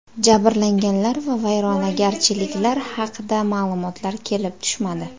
Jabrlanganlar va vayronagarchiliklar haqida ma’lumotlar kelib tushmadi.